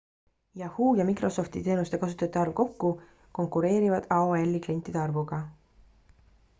yahoo ja microsofti teenuste kasutajate arv kokku konkureerivad aol-i klientide arvuga